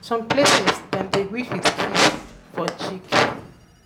for some places dem dey greet with kiss for cheek